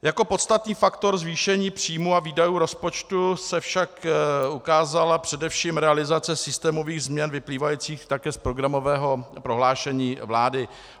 Jako podstatný faktor zvýšení příjmů a výdajů rozpočtu se však ukázala především realizace systémových změn vyplývajících také z programového prohlášení vlády.